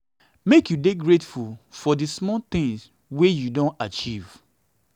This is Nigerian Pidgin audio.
make you you dey grateful for di small small tins wey you don achieve.